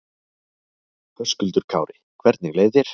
Höskuldur Kári: Hvernig leið þér?